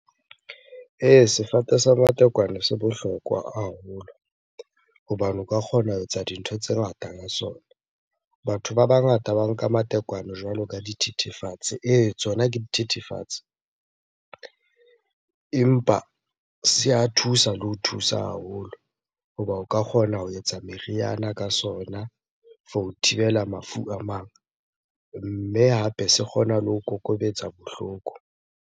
Ee, sefate sa matekwane se bohlokwa haholo hobane o ka kgona ho etsa dintho tse ngata ka sona. Batho ba bangata ba nka matekwane jwalo ka dithethefatsi Ee, tsona ke dithethefatsi, empa se a thusa le ho thusa haholo hoba o ka kgona ho etsa meriana ka sona for ho thibela mafu a mang. Mme hape se kgona le ho kokobetsa bohloko.